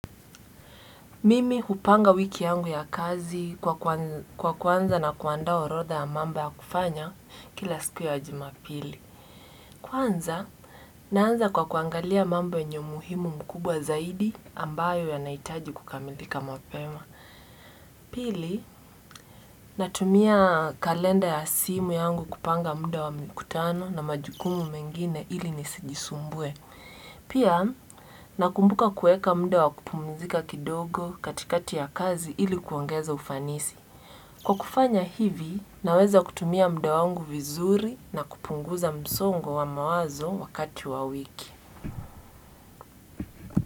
Mimi hupanga wiki yangu ya kazi kwa kuanza na kuandaa orodha ya mambo ya kufanya kila siku ya jumapili. Kwanza, naanza kwa kuangalia mambo yenye umuhimu mkubwa zaidi ambayo yanahitaji kukamilika mapema. Pili, natumia kalenda ya simu yangu kupanga mda wa mkutano na majukumu mengine ili nisijisumbue. Pia, nakumbuka kueka mdo wakupumzika kidogo katikati ya kazi ilikuongeza ufanisi. Kwa kufanya hivi, naweza kutumia mda wangu vizuri na kupunguza msongo wa mawazo wakati wa wiki.